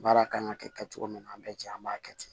Baara kan ka kɛ kɛ cogo min na an bɛ jɛ an b'a kɛ ten